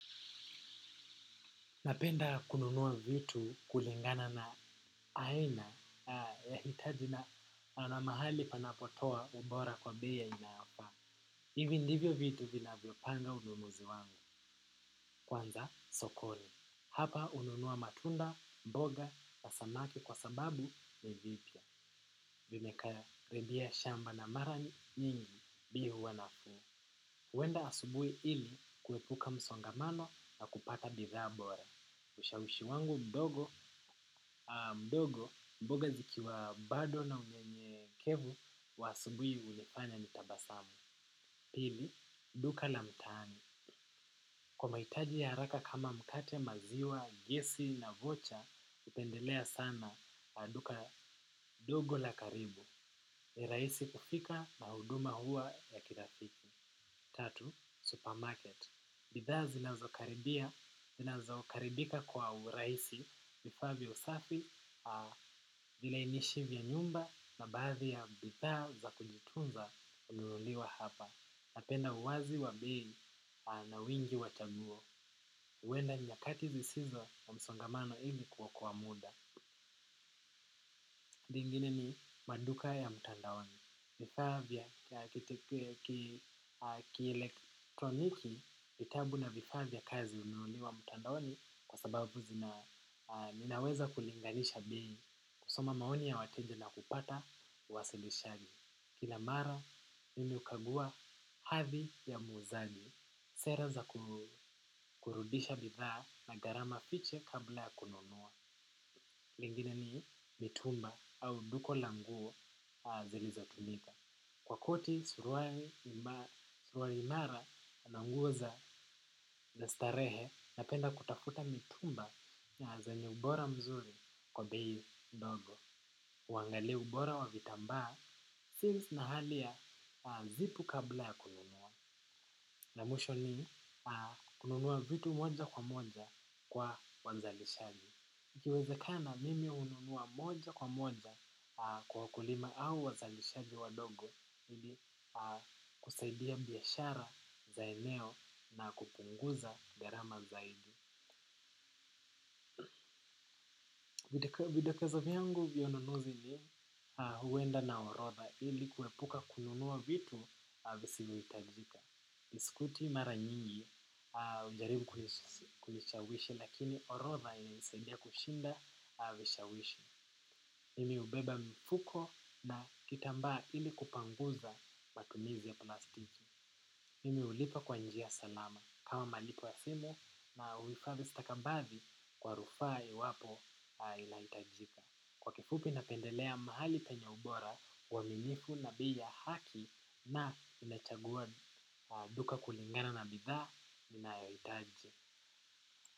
Napenda kununua vitu kulingana na aina ya hitaji na na mahali panapotoa ubora kwa bei inayofa. Hivi ndivyo vitu vinavyopanga ununuzi wangu. Kwanza sokoni. Hapa hununua matunda, mboga, na samaki kwa sababu ni vipya. Vimekaribia shamba na mara nyingi bei huwa nafuu. Huenda asubuhi ili kuepuka msongamano na kupata bidhaa bora. Ushawishi wangu mdogo, mboga zikiwa bado na unyenyekevu wa asubuhi hunifanya nitabasamu. Pili, duka la mtaani. Kwa mahitaji ya haraka kama mkate, maziwa, gisi na vocha, hupendelea sana duka ndogo la karibu. Rahisi kufika na huduma huwa ya kirafiki. Tatu, supermarket. Bidhaa zinazokaribika kwa urahisi. Vifaa vya usafi, vilainishi vya nyumba na baadhi ya bidhaa za kujitunza hununuliwa hapa. Napenda uwazi wa bei na wingi wa chaguo. Huenda nyakati zisizo na msongamano hivi kuokoa muda. Lingine ni maduka ya mtandaoni. Vifaa vya ya kielektroniki, vitabu na vifaa vya kazi hununuliwa mtandaoni kwa sababu ninaweza kulinganisha bei, kusoma maoni ya wateja na kupata uwasilishaji. Kila mara mimi hukagua hadhii ya muuzaji. Sera za kurudisha bidhaa na garama fiche kabla ya kununua. Lingine ni mitumba au duka la nguo zilizotumika. Kwa koti, suruari imara na nguo za za starehe napenda kutafuta mitumba na zenye ubora mzuri kwa bei ndogo. Huangalia ubora wa vitambaa since na hali ya zipu kabla ya kununua. Na mwisho ni kununua vitu moja kwa moja kwa wauzaji. Ikiwezekana mimi hununua moja kwa moja kwa wakulima au wazalishaji wadogo ili kusaidia biashara za eneo na kupunguza gharama zaidi. Vidokezo vyangu ununuzi ni huenda na orodha ili kuepuka kununua vitu visivyohitajika. Iskuti mara nyingi, ujaribu kunishawishi lakini orotha ili saidia kushinda vishawishi. Mimi ubeba mfuko na kitamba ili kupanguza matumizi ya plastiki. Mimi ulipa kwa njia salama kama malipo simu na uhifadhi stakambathi kwa rufaa iwapo inahitajika. Kwa kifupi napendelea mahali penye ubora uwaminifu na bei ya haki na inachagua duka kulingana na bidha ninayohitaji.